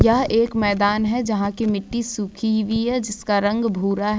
यह एक मैदान है जिसकी मिट्टी सूखी ही जिसका रंग भूरा है।